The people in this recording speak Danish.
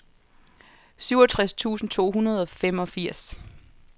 syvogtres tusind to hundrede og femogfirs